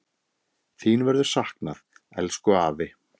Þín verður saknað, elsku afi.